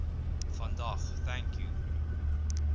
vandag thank you